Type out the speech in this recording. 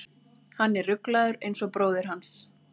Hann er ruglaður eins og bróðir hans.